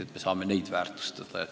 Saame neidki rohkem väärtustada.